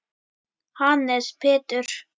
Hannes Pétur.